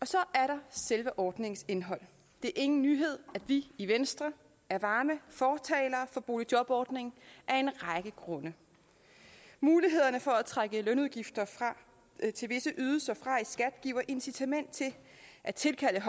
så er der selve ordningens indhold det er ingen nyhed at vi i venstre er varme fortalere for boligjobordningen af en række grunde mulighederne for at trække lønudgifter til visse ydelser fra i skat giver incitament til at tilkalde